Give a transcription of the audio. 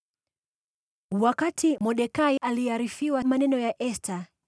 Wakati Mordekai aliarifiwa maneno ya Esta,